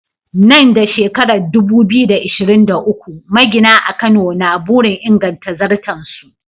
Nan da shekarar 2023, magina a Kano na burin inganta zarton su.